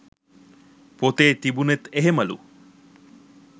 පොතේ තිබුනෙත් එහෙමලු.